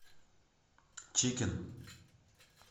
чикен